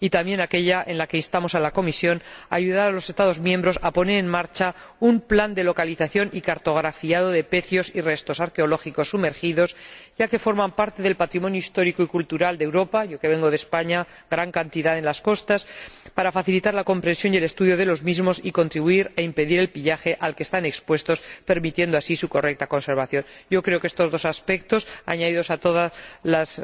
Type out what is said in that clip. Y, también, aquella en la que instamos a la Comisión a ayudar a los Estados miembros a poner en macha un plan de localización y cartografiado de pecios y restos arqueológicos sumergidos, ya que forman parte del patrimonio histórico y cultural de Europa —yo vengo de España, en cuyas costas hay gran cantidad de restos—, para facilitar la comprensión y el estudio de los mismos y contribuir a impedir el pillaje al que están expuestos, permitiendo así su correcta conservación. Creo que estos dos aspectos, añadidos a todas las